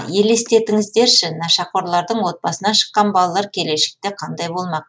елестетіңіздерші нашақорлардың отбасынан шыққан балалар келешекте қандай болмақ